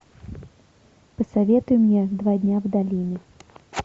посоветуй мне два дня в долине